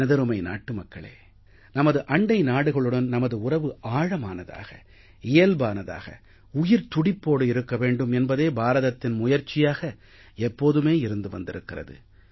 எனதருமை நாட்டு மக்களே நமது அண்டை நாடுகளுடன் நமது உறவு ஆழமானதாக இயல்பானதாக உயிர்த்துடிப்போடு இருக்க வேண்டும் என்பதே பாரதத்தின் முயற்சியாக எப்போதுமே இருந்து வந்திருக்கிறது